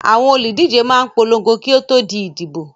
Àwọn olùdíje máa ń polongo kí ó di ìdìbò.